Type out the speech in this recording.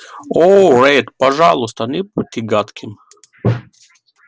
о ретт пожалуйста не будьте гадким